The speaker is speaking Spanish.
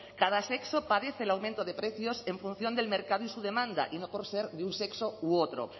cada sexo padece el aumento de precios en función del mercado y su demanda y no por ser de un sexo u otro